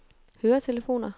høretelefoner